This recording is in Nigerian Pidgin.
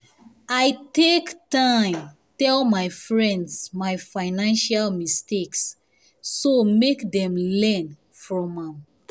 i take um time tell friends my financial mistakes so make dem learn from am